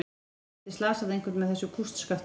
Þú gætir slasað einhvern með þessu kústskafti.